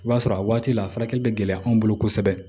I b'a sɔrɔ a waati la a furakɛli bɛ gɛlɛya anw bolo kosɛbɛ